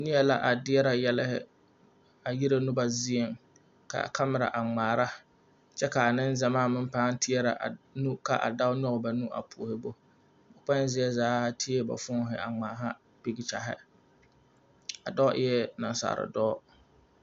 Neɛ la a deɛrɛ yɛlɛhi a yire noba zieŋ k,a kamera a ŋmaara kyɛ k,a nengyamaa pãã teɛrɛ a nu k,a dao nyɔge ba nu a puori bo ba kpoŋ zie zaa teɛ ba fooni a ŋmaaha pekkyaghi a dɔɔ eɛ nasaaldɔɔ.